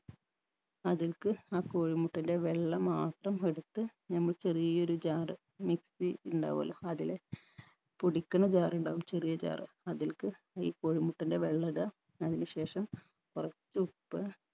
അതിൽക്ക് ആ കോഴിമുട്ടൻറെ വെള്ള മാത്രം എടുത്ത് നമ്മ ചെറിയൊരു jar mixie ഉണ്ടാവുഅല്ലോ അതില് പൊടിക്കണ jar ഉണ്ടാവും ചെറിയ jar അതിൽക്ക് ഈ കോഴി മുട്ടൻറെ വെള്ള ഇടുക അതിന് ശേഷം കുറച്ചുപ്പ്